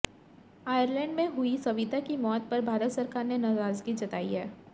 Ireland में हुई सविता की मौत पर भारत सरकार ने नाराज़गी जताई है